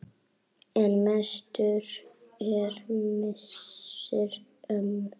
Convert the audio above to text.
En mestur er missir ömmu.